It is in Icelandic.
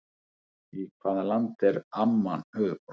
Í hvaða landi er Amman höfuðborg?